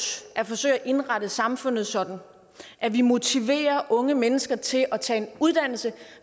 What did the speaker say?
at forsøge at indrette samfundet sådan at vi motiverer unge mennesker til at tage en uddannelse